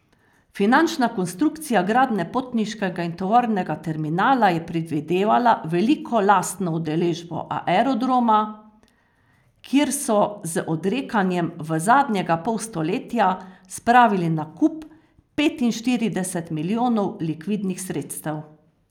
Finančna konstrukcija gradnje potniškega in tovornega terminala je predvidevala veliko lastno udeležbo Aerodroma, kjer so z odrekanjem v zadnjega pol stoletja spravili na kup petinštirideset milijonov likvidnih sredstev.